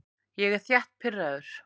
Ég er þétt pirraður.